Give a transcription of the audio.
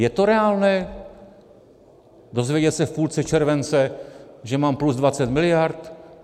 Je to reálné dozvědět se v půlce července, že mám plus 20 mld.?